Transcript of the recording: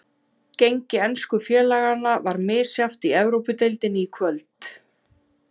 Gengi ensku félaganna var misjafnt í Evrópudeildinni í kvöld.